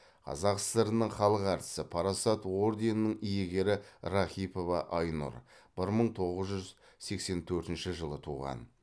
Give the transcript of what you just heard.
қазақ сср інің халық әртісі парасат орденінің иегері рахипова айнұр бір мың тоғыз жүз сексен төртінші жылы туған